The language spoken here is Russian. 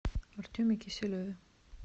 артеме киселеве